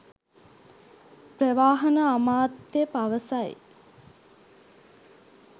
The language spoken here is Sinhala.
ප්‍රවාහන අමාත්‍ය පවසයි